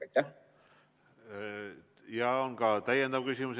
Teile on ka täiendav küsimus.